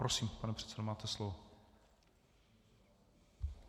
Prosím, pane předsedo, máte slovo.